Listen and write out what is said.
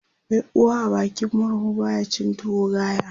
Mai uwa a bakin murhu baya cin tuwo gaya